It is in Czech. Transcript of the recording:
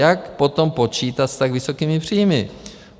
Jak potom počítat s tak vysokými příjmy?